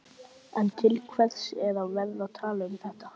En til hvers er að vera að tala um þetta?